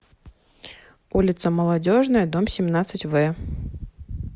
улица молодежная дом семнадцать в